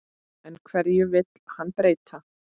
En hverju vill hann breyta?